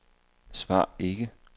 svar ikke